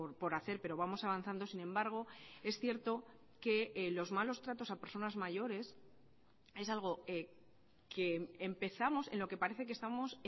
por hacer pero vamos avanzando sin embargo es cierto que los malos tratos a personas mayores es algo que empezamos en lo que parece que estamos